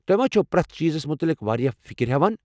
توہہِ ما چھِو پرٮ۪تھ چیزس مُتعلق واریاہ فِکر ہیوان؟